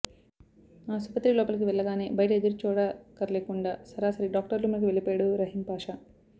ఆసుపత్రి లోపలికి వెళ్లగానే బయట ఎదురుచూడక్కర్లేకుండా సరాసరి డాక్టర్ రూములోకి వెళ్లిపోయాడు రహీంపాషా